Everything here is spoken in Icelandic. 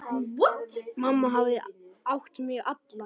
Mamma hafði átt mig alla.